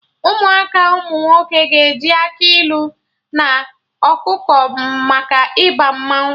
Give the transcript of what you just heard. Ụmụaka umunwoke ga-eji akị ilu na ọkụkọ maka Ịba mmanwụ